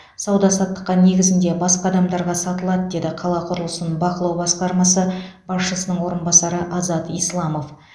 сауда саттық негізінде басқа адамдаға сатылады деді қала құрылысын бақылау басқармасы басшысының орынбасары азат исламов